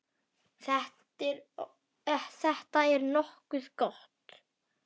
Þetta er nokkuð gott.